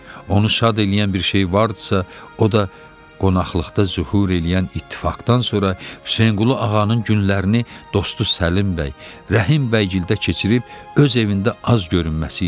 Onu şad eləyən bir şey var idisə, o da qonaqlıqda zühur eləyən ittifaqdan sonra Hüseynqulu ağanın günlərini dostu Səlim bəy, Rəhim bəygildə keçirib öz evində az görünməsi idi.